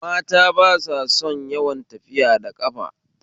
Mata ba sa son yawan tafiya da ƙafa